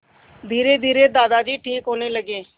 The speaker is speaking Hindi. धीरेधीरे दादाजी ठीक होने लगे